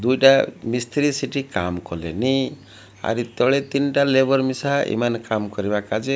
ଦୁଇଟା ମିସ୍ତ୍ରୀ ସେଠି କାମ୍ କଲେନି ଆର୍ ତଳେ ତିନ୍ଟା ଲେବର ମିସା ଏମାନେ କାମ୍ କରିବା କାଜେ --